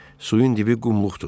Suyun dibi qumluqdur.